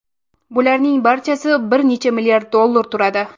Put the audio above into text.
Bularning barchasi bir necha milliard dollar turadi.